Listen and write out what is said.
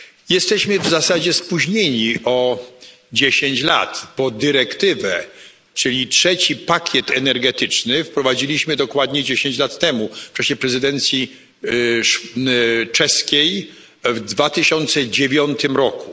Jesteśmy w zasadzie spóźnieni o 10 lat, bo dyrektywę, czyli trzeci pakiet energetyczny, wprowadziliśmy dokładnie 10 lat temu w czasie prezydencji czeskiej w 2009 roku.